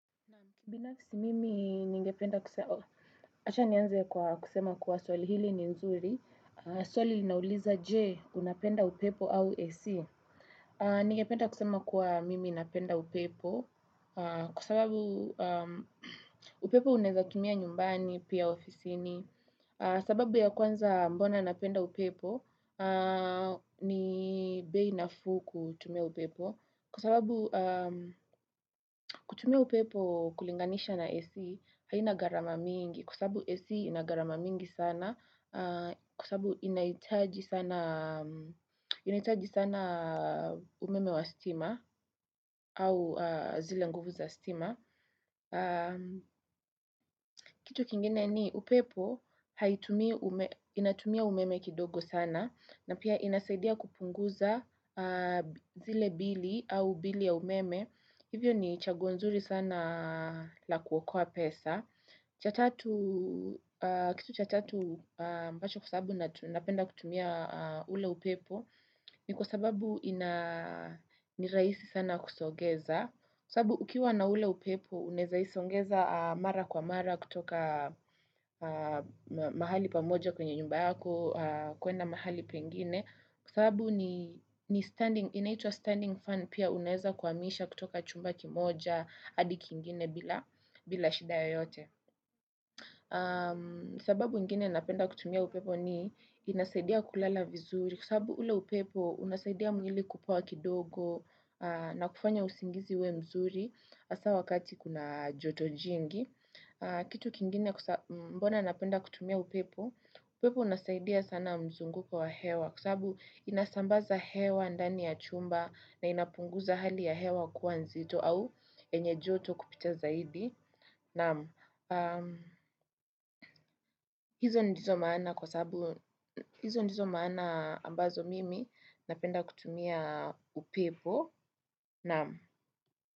Binafisi mimi ningependa kusema kuwa swali hili ni nzuri, swali nauliza je unapenda upepo au AC. Ningependa kusema kuwa mimi napenda upepo kwa sababu upepo unaeza tumia nyumbani pia ofisini. Sababu ya kwanza mbona napenda upepo ni bei nafuu kutumia upepo. Kwasababu kutumia upepo kulinganisha na AC, haina garama mingi. Kwa sababu AC ina garama mingi sana. Kwa sababu inaitaji sana umeme wa stima au zile nguvu za stima. Kitu kingene ni upepo inatumia umeme kidogo sana na pia inasaidia kupunguza zile bili au bili ya umeme Hivyo ni chaguo nzuri sana la kuokoa pesa kitu cha tatu ambacho kwa sababu napenda kutumia ule upepo ni kwa sababu ni rahisi sana kusogeza Kwa sababu ukiwa na ule upepo, unaeza isongeza mara kwa mara kutoka mahali pamoja kwenye nyumba yako, kwenye mahali pengine. Kwa sababu ni standing, inaitwa standing fan pia unaeza kwa misha kutoka chumba kimoja, hadi kingine bila shida yoyote. Sababu ingine napenda kutumia upepo ni inasaidia kulala vizuri. Kwa sababu ule upepo unasaidia mwili kupoa kidogo na kufanya usingizi uwe mzuri hasa wakati kuna joto jingi. Kitu kingine mbona napenda kutumia upepo, upepo unasaidia sana mzunguko wa hewa. Kwa sababu inasambaza hewa ndani ya chumba na inapunguza hali ya hewa kua nzito au yenye joto kupita zaidi. Naamu, hizo ndizo maana kwa sababu, hizo ndizo maana ambazo mimi napenda kutumia upepo, naamu.